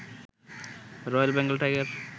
royal Bengal tiger